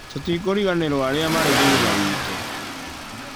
Tũtikũriganĩrwo arĩa marĩ thutha witũ.